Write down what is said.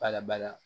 Bala bala